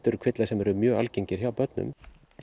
eru kvillar sem eru mjög algengir hjá börnum